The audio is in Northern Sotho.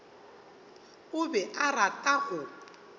o be a rata go